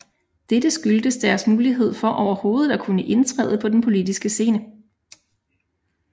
Dette skyldtes deres mulighed for overhovedet at kunne indtræde på den politiske scene